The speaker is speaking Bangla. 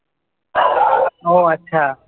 ও আচ্ছা।